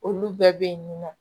Olu bɛɛ bɛ yen nin nɔ